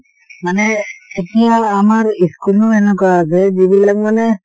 মানে এতিয়া আমাৰ school ও এনেকুৱা যে যিবিলাক মানে